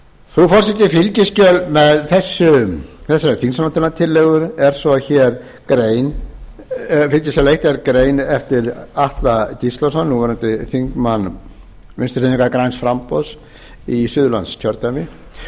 frú forseti fylgiskjal með þessari þingsályktunartillögu er svo grein eftir atla gíslason núverandi þingmann vinstri hreyfingarinnar græns framboðs í suðurlandskjördæmi